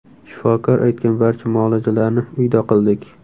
Shifokor aytgan barcha muolajalarni uyda qildik.